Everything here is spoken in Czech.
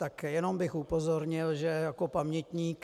Tak jenom bych upozornil, že jako pamětník...